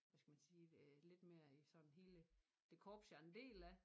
Hvad skal man sige lidt mere i sådan hele det korps jeg en del af